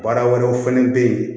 Baara wɛrɛw fɛnɛ bɛ ye